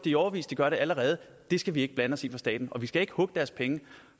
i årevis de gør det allerede og det skal vi ikke blande os i fra statens side vi skal ikke hugge deres penge